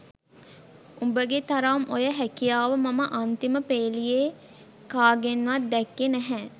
උඹගේ තරම් ඔය හැකියාව මම අන්තිම පේලියේ කාගෙන්වත් දැක්කේ නැහැ